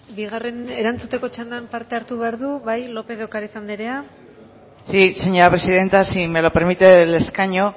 erantzuteko txandan parte hartu behar du bai lópez de ocariz anderea sí señora presidenta si me lo permite desde el escaño